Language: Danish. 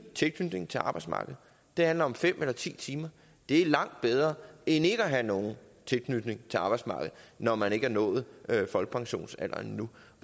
tilknytning til arbejdsmarkedet det handler om fem eller ti timer er langt bedre end ikke at have nogen tilknytning til arbejdsmarkedet når man ikke har nået folkepensionsalderen endnu